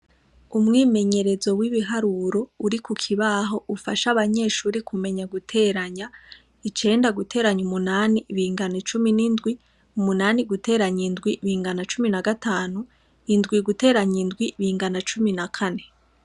Umwimenyerezo w'ibiharuro uri kukibaho ufasha abanyeshure kumenya guteranya , icenda guteranya umunani bingana cumi n'indwi, umunani guteranya indwi bingana cumi na gatanu, indwi guteranya indwi bingana na cumi na kane.